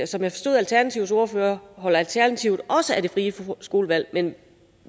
som jeg forstod alternativets ordfører holder alternativet også af det frie skolevalg men